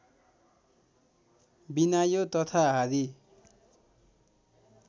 बिनायो तथा हारी